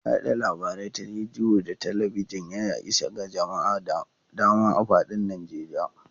Yada labarai ta rediyo da talabijin, ya isa ga jama'a da dama a fadin Najeriya.